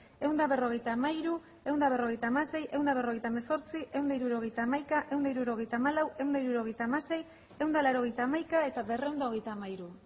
ehun eta berrogeita hamairu ehun eta berrogeita hamasei ehun eta berrogeita hemezortzi ehun eta hirurogeita hamaika ehun eta hirurogeita hamalau ehun eta hirurogeita hamasei ehun eta laurogeita hamaika eta berrehun eta hogeita hamairu